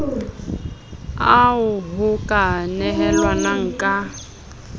ao ho ka nehelanwang ka